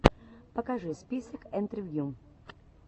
покажи список интервью